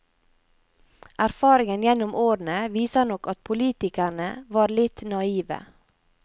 Erfaringen gjennom årene, viser nok at politikerne var litt naive.